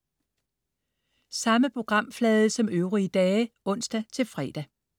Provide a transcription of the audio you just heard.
Samme programflade som øvrige dage (ons-fre)